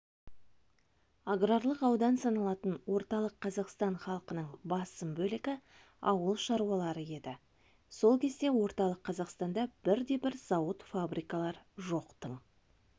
аграрлық аудан саналатын орталық қазақстан халқының басым бөлігі ауыл шаруалары еді сол кезде орталық қазақстанда бірде-бір зауыт-фабрикалар жоқтың